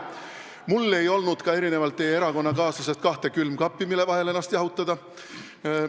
Mul ei olnud erinevalt teie erakonnakaaslasest ka kahte külmkappi, mille vahel ennast jahutada.